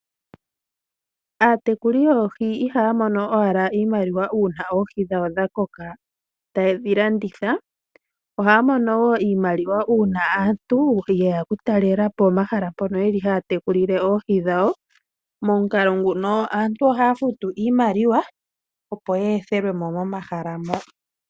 Aatekuli yoohi ihaya mono owala iimaliwa una oohi dhawo dha koka taye dhi landitha. Oha ya mono wo iimaliwa una aantu yeya oku talelapo omahala mpono haya tekulile oohi dhawo. Momukalo nguno aantu ohaya futu iimaliwa opo ye ethelwemo momahala mo.